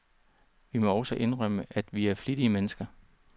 Vi må også indrømme, at vi er flittige mennesker.